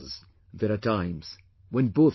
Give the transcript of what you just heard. There are times when both die